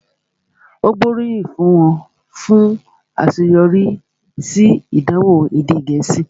Ó gbóríyìn fún un fún àṣeyọrí sí ìdánwò èdè Gẹ̀ẹ́sì